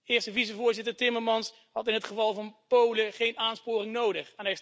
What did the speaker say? Eerste vicevoorzitter Timmermans had in het geval van Polen geen aansporing nodig.